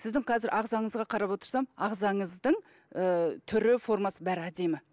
сіздің қазір ағзаңызға қарап отырсам ағзаңыздың ы түрі формасы бәрі әдемі